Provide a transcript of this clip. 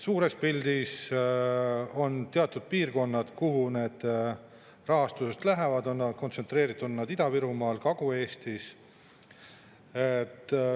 Suures pildis on teatud piirkonnad, kuhu need rahastused lähevad, kontsentreeritud on need Ida-Virumaal ja Kagu-Eestis.